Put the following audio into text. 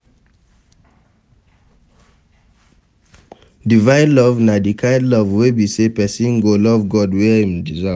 Divine Love na di kind love wey be say persin go love God wey im de serve